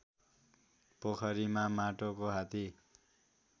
पोखरीमा माटोको हात्ती